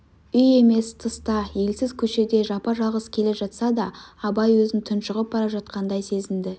үй емес тыста елсіз көшеде жапа-жалғыз келе жатса да абай өзін тұншығып бара жатқандай сезінді